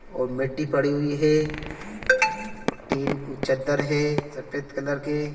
और मिट्टी पड़ी हुई है और टिन चद्दर है सफेद कलर के---